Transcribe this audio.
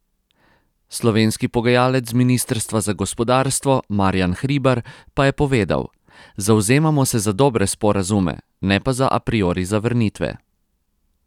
Slovenski pogajalec z ministrstva za gospodarstvo Marjan Hribar pa je povedal: 'Zavzemamo se za dobre sporazume, ne pa za a priori zavrnitve.